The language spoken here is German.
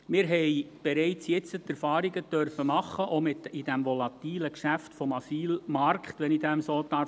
Wir haben bereits jetzt Erfahrungen machen können, auch in diesem volatilen Geschäft des Asylmarktes, wenn ich so sagen darf.